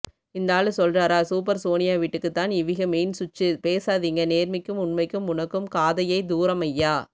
இந்தாளு சொல்றாரா சூப்பர் சோனியாவீட்டுக்கு தான் இவிக மெயின் ஸ்விச்ச்சு பேசாதீங்க நேர்மைக்கும் உண்மைக்கும் உனக்கும் காதையை தூரம் ஐயா